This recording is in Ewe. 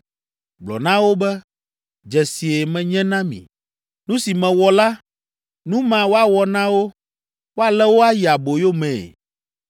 Gblɔ na wo be, ‘Dzesie menye na mi.’ “Nu si mewɔ la, nu ma woawɔ na wo. Woalé wo ayi aboyo mee.